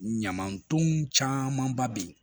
Ɲamaton caman ba bɛ ye